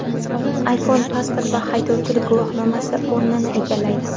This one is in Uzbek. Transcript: iPhone pasport va haydovchilik guvohnomasi o‘rnini egallaydi.